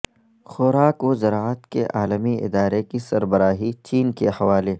خوراک و زراعت کے عالمی ادارے کی سربراہی چین کے حوالے